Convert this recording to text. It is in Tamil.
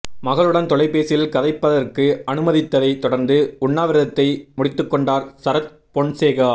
மகளுடன் தொலைபேசியில் கதைப்பதற்கு அனுமதித்ததை தொடர்ந்து உண்ணாவிரதத்தை முடித்துக்கொண்டார் சரத் பொன்சேகா